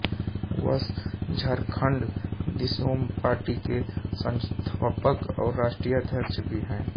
वह झारखंड दिसोम पार्टी के संस्थापक और राष्ट्रीय अध्यक्ष भी हैं